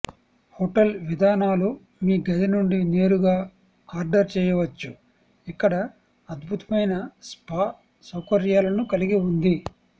hotel విధానాలు మీ గది నుండి నేరుగా ఆర్డర్ చేయవచ్చు ఇక్కడ అద్భుతమైన స్పా సౌకర్యాలను కలిగి ఉంది